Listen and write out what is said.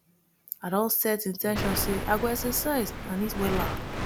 i don set in ten tion say i go exercise and eat wella